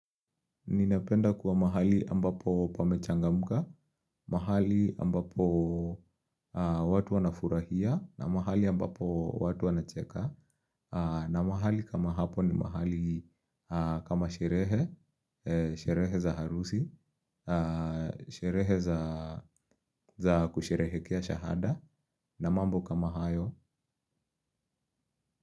Ninapenda kuwa mahali ambapo pa mechangamka, mahali ambapo watu wanafurahia, na mahali ambapo watu wanacheka, na mahali kama hapo ni mahali kama sherehe, sherehe za harusi, sherehe za kusherehekea shahada, na mambo kama hayo.